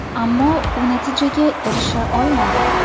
Ammo u natijaga erisha olmadi.